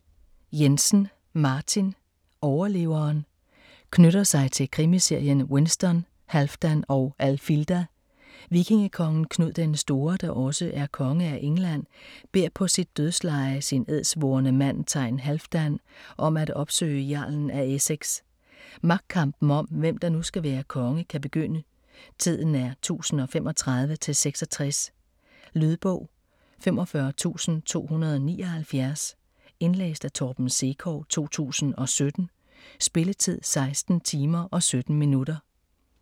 Jensen, Martin: Overleveren Knytter sig til krimiserien Winston, Halfdan og Alfilda. Vikingekongen Knud den Store, der også er konge af England, beder på sit dødsleje sin edsvorne mand thegn Halfdan om at opsøge jarlen af Essex. Magtkampen om, hvem der nu skal være konge kan begynde. Tiden er 1035-66. Lydbog 45279 Indlæst af Torben Sekov, 2017. Spilletid: 16 timer, 17 minutter.